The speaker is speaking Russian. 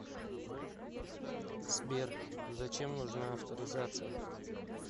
сбер зачем нужна авторизация